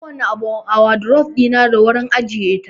Kowace abu a wadurof ɗina da wurin ajiyar ta